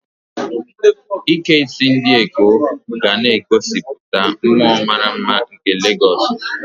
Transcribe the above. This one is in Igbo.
Ike isi ndi Ekó ga na-egosipụta mmụọ mara mma nke Legosu.